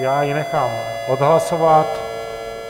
Já ji nechám odhlasovat.